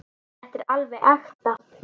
Þetta er alveg ekta.